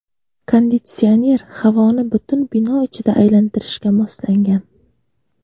Konditsioner havoni butun bino ichida aylantirishga moslangan.